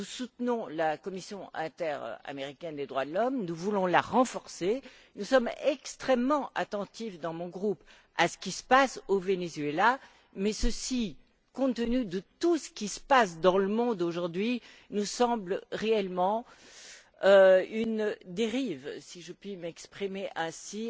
Nous soutenons la commission interaméricaine des droits de l'homme, nous voulons la renforcer, nous sommes extrêmement attentifs dans mon groupe à ce qui se passe au Venezuela. Mais ceci, compte tenu de tout ce qui se passe dans le monde aujourd'hui, nous semble réellement une dérive si je puis m'exprimer ainsi